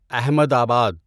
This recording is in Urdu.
احمد آباد